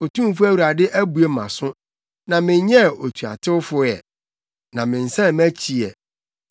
Otumfo Awurade abue mʼaso na menyɛɛ otuatewfo ɛ; na mensan mʼakyi ɛ.